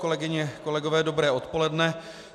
Kolegyně, kolegové, dobré odpoledne.